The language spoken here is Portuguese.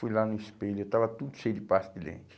Fui lá no espelho, eu estava tudo cheio de pasta de dente.